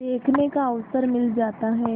देखने का अवसर मिल जाता है